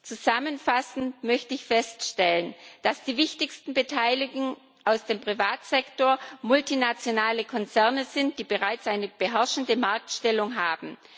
Zusammenfassend möchte ich feststellen, dass die wichtigsten Beteiligten aus dem Privatsektor multinationale Konzerne sind, die bereits eine beherrschende Marktstellung haben.